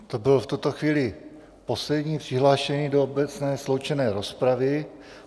To byl v tuto chvíli poslední přihlášený do obecné sloučené rozpravy.